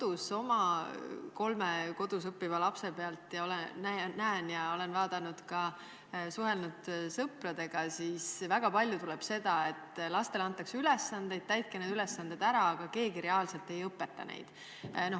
Ma näen oma kolme kodus õppiva lapse pealt ja olen suhelnud ka sõpradega, et väga palju tuleb ette seda, et lastele antakse ülesanded ette ja kästakse need ära teha, aga mitte keegi neid reaalselt ei õpeta.